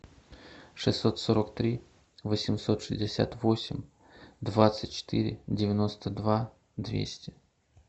шестьсот сорок три восемьсот шестьдесят восемь двадцать четыре девяносто два двести